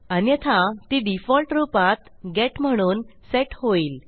अन्यथा ती डिफॉल्ट रूपात गेट म्हणून सेट होईल